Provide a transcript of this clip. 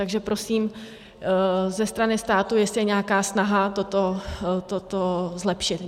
Takže prosím, ze strany státu jestli je nějaká snaha toto zlepšit.